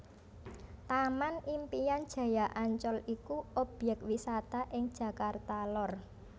Taman Impian Jaya Ancol iku objèk wisata ing Jakarta Lor